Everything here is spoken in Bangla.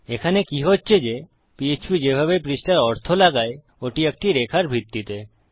এখানে কি হচ্ছে যে পিএচপি যেভাবে পৃষ্ঠার অর্থ লাগায় ওটি একটি রেখার ভিত্তিতে